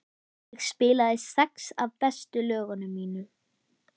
Ég spilaði sex af bestu lögunum mínum.